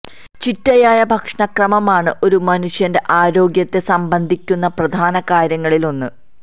ചിട്ടയായ ഭക്ഷണ ക്രമമാണ് ഒരു മനുഷ്യന്റെ ആരോഗ്യത്തെ സംബന്ധിക്കുന്ന പ്രധാന കാര്യങ്ങളില് ഒന്ന്